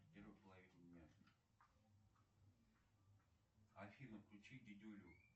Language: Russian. афина включи дедюлю